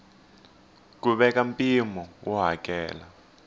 ku veka mpimo wo hakela